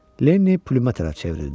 Lenni Plümə tərəf çevrildi.